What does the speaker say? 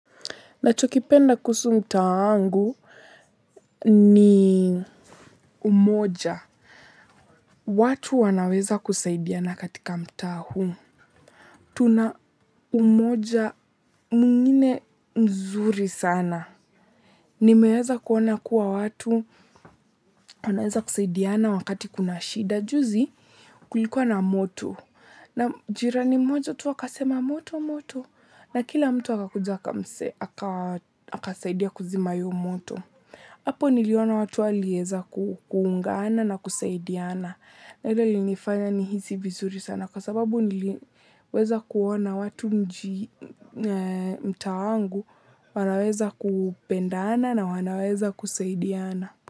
Nachokipenda kuhusu mtaa wangu ni umoja. Watu wanaweza kusaidiana katika mtaa huu. Tuna umoja mwingine mzuri sana. Nimeeza kuona kuwa watu wanaeza kusaidiana wakati kuna shida. Juzi kulikuwa na moto. Na jirani mmoja tu akasema moto moto. Na kila mtu akakuja akamse, akasaidia kuzima hiyo moto. Apo niliona watu walieza kuungana na kusaidiana. Ilinifanya nihisi vizuri sana kwa sababu niliweza kuona watu mtaa wangu wanaweza kupendana na wanaweza kusaidiana.